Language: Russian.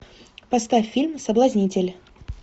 поставь фильм соблазнитель